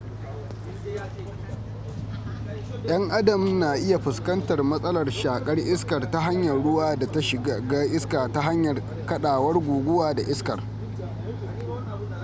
yan adam na iya fuskantar masalar shakar iskar ta hanyar ruwa da ta shiga iska ta hanyar kadawar guguwa da iskar